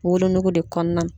Wolonugu de kɔɔna